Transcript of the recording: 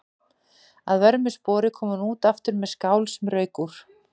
Að vörmu spori kom hún aftur með skál sem rauk úr.